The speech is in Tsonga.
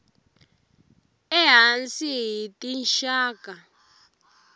e hansi hi tinxaka